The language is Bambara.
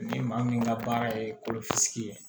Ni maa min ka baara ye kolofisi ye